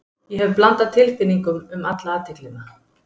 Ég hef blandað tilfinningum um alla athyglina.